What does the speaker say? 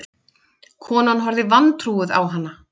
Konan horfði vantrúuð á hana.